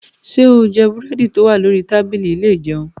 Ṣé o jẹ búrẹ́dì tó wà lórí tábìlì ilé ìjẹun?